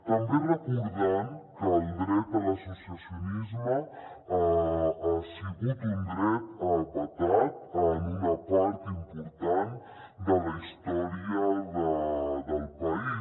també recordant que el dret a l’associacionisme ha sigut un dret vetat en una part important de la història del país